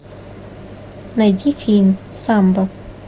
найди фильм самбо